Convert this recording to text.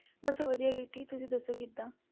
ਬਸ ਵਧੀਆ ਕੀਰਤੀ, ਤੁਸੀਂ ਦੱਸੋਂ ਕਿੱਦਾਂ?